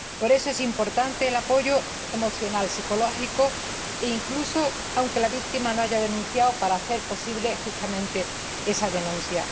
Por eso, es importante el apoyo emocional y psicológico, incluso aunque la víctima no haya denunciado, para hacer posible justamente esa denuncia.